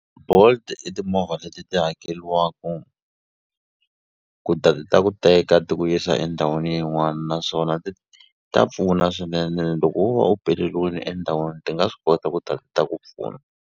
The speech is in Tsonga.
Bolt i timovha leti ti hakeliwaku ku ta ti ta ku teka ti ku yisa endhawini yin'wani naswona ta pfuna swinene loko wo va u peleliwini endhawini ti nga swi kota ku ta ti ta ku pfuna.